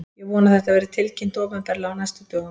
Ég vona að þetta verði tilkynnt opinberlega á næstu dögum.